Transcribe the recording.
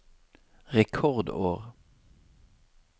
rekordår